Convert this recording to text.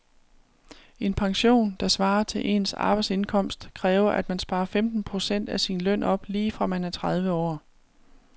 En pension, der svarer til ens arbejdsindkomst, kræver at man sparer femten procent af sin løn op lige fra man er tredive år.